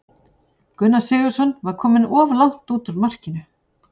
Gunnar Sigurðsson var kominn of langt út úr markinu.